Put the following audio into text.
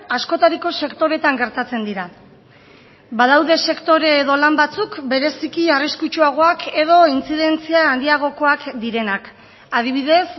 askotariko sektoretan gertatzen dira badaude sektore edo lan batzuk bereziki arriskutsuagoak edo intzidentzia handiagokoak direnak adibidez